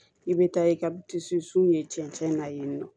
I bɛ taa i ka ye cɛncɛn na yen nɔ